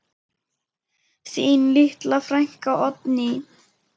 Þín litla frænka, Oddný.